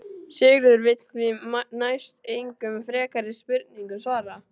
Sigurður vill því næst engum frekari spurningum svara.